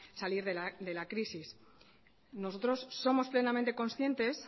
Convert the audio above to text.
salir de la crisis nosotros somos plenamente conscientes